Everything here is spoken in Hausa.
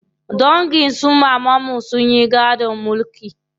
Dangin su mamanmu sun yi gadon mulki.